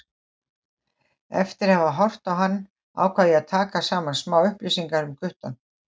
Eftir að hafa horft á hann ákvað ég að taka saman smá upplýsingar um guttann.